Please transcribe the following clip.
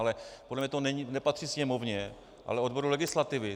Ale podle mě to nepatří sněmovně, ale odboru legislativy.